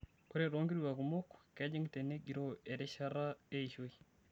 Ore too nkituak kumok, kejing' tenegiroo erishata eishoi.